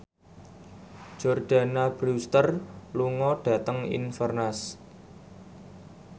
Jordana Brewster lunga dhateng Inverness